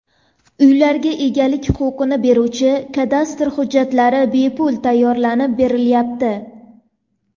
Uylarga egalik huquqini beruvchi kadastr hujjatlari bepul tayyorlab berilyapti.